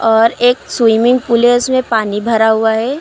और एक swimming pool है उसमें पानी भरा हुआ है।